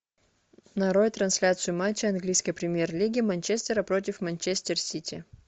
нарой трансляцию матча английской премьер лиги манчестера против манчестер сити